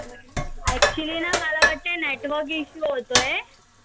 actually न मला वाटतय network issue होतोय.